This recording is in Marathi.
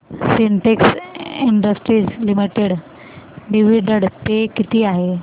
Sintex industries limited dividend pay किती आहे